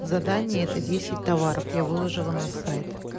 задание это десять товаров я выложила на сайт